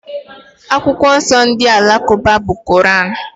Akwụkwọ nsọ ndị Alakụba bụ Koran.